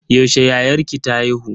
Yaushe yayarki ta haihu?